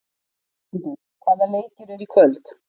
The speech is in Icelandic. Jörundur, hvaða leikir eru í kvöld?